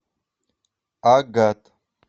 агат